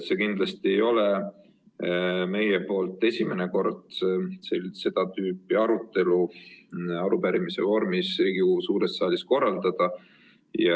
See kindlasti ei ole meil esimene kord seda tüüpi arutelu arupärimise vormis Riigikogu suures saalis korraldada.